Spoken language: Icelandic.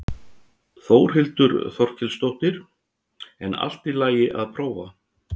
Þórhildur Þorkelsdóttir: En allt í lagi að prófa?